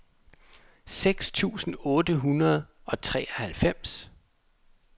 seks tusind otte hundrede og treoghalvfems